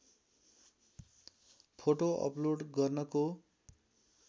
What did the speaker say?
photo upload गर्नको